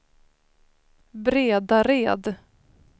Bredared